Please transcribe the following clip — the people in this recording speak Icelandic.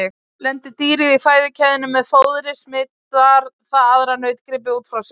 Lendi dýrið í fæðukeðjunni með fóðri smitar það aðra nautgripi út frá sér.